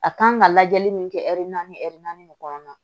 A kan ka lajɛli min kɛ naani de kɔnɔna na